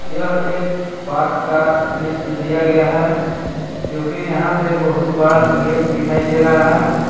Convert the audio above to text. यह एक पार्क का दृश्य दिया गया है जो कि यहां पे बहुत बड़ा गेट दिखाई दे रहा है।